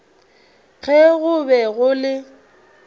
ge go be go le